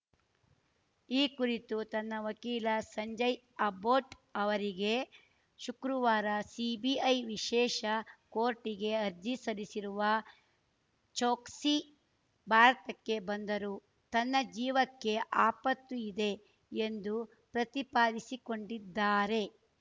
ಈ ಕುರಿತು ತನ್ನ ವಕೀಲ ಸಂಜಯ್‌ ಅಬ್ಬೋಟ್‌ ಅವರಿಗೆ ಶುಕ್ರವಾರ ಸಿಬಿಐ ವಿಶೇಷ ಕೋರ್ಟ್‌ಗೆ ಅರ್ಜಿ ಸಲ್ಲಿಸಿರುವ ಚೋಕ್ಸಿ ಭಾರತಕ್ಕೆ ಬಂದರು ತನ್ನ ಜೀವಕ್ಕೆ ಆಪತ್ತು ಇದೆ ಎಂದು ಪ್ರತಿಪಾದಿಸಿಕೊಂಡಿದ್ದಾರೆ